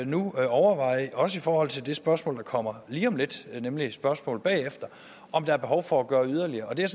nu overveje også i forhold til det spørgsmål der kommer lige om lidt nemlig det efterfølgende spørgsmål om der er behov for at gøre yderligere det er